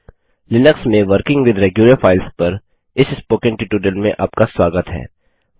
Linux में working with regular files पर इस स्पोकन ट्यूटोरियल में आपका स्वागत है